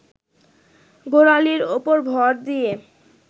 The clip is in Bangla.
গোড়ালির ওপর ভর দিয়ে